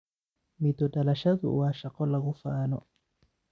Midho dhalashadu waa shaqo lagu faano.